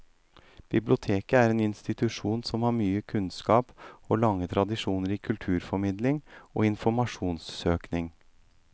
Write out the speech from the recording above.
Biblioteket er en institusjon som har mye kunnskap og lange tradisjoner i kulturformidling og informasjonssøking.